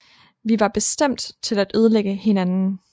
Vi var bestemt til at ødelægge hinanden